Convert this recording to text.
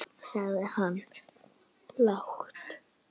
sagði hann lágt.